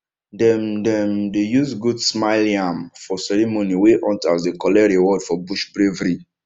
dem dem dey use goat smile yam for ceremony wey hunters dey collect reward for bush bravery